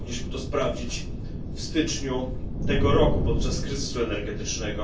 Mogliśmy to sprawdzić w styczniu tego roku podczas kryzysu energetycznego.